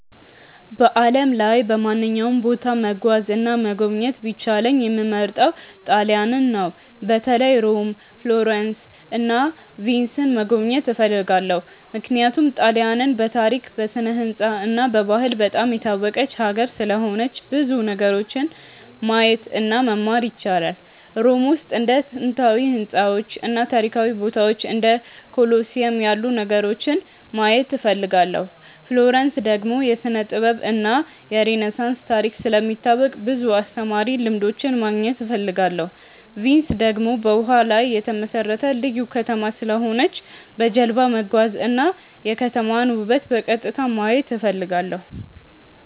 በዓለም ላይ በማንኛውም ቦታ መጓዝ እና መጎብኘት ቢቻለኝ የምመርጠው ጣሊያንን ነው። በተለይ ሮም፣ ፍሎረንስ እና ቪንስን መጎብኘት እፈልጋለሁ። ምክንያቱም ጣሊያንን በታሪክ፣ በስነ-ሕንፃ እና በባህል በጣም የታወቀች ሀገር ስለሆነች ብዙ ነገሮችን ማየት እና መማር ይቻላል። ሮም ውስጥ እንደ ጥንታዊ ሕንፃዎች እና ታሪካዊ ቦታዎች እንደ ኮሎሲየም ያሉ ነገሮችን ማየት እፈልጋለሁ። ፍሎረንስ ደግሞ የስነ-ጥበብ እና የሬነሳንስ ታሪክ ስለሚታወቅ ብዙ አስተማሪ ልምዶች ማግኘት እፈልጋለሁ። ቪንስ ደግሞ በውሃ ላይ የተመሠረተ ልዩ ከተማ ስለሆነች በጀልባ መጓዝ እና የከተማዋን ውበት በቀጥታ ማየት እፈልጋለሁ።